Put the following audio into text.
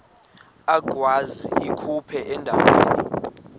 agwaz ikhephu endaweni